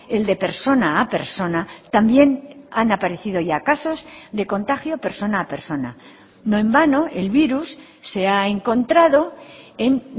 el de persona a persona también han aparecido ya casos de contagio persona a persona no en vano el virus se ha encontrado en